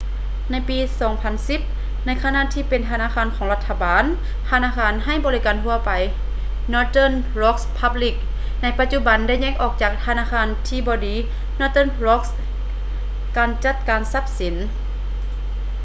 ໃນປີ 2010 ໃນຂະນະທີ່ເປັນທະນາຄານຂອງລັດຖະບານ ທະນາຄານໃຫ້ບໍລິການທົ່ວໄປ northern rock plc ໃນປະຈຸບັນໄດ້ແຍກອອກຈາກ ‘ທະນາຄານທີ່ບໍ່ດີ’ northern rock ການຈັດການຊັບສິນ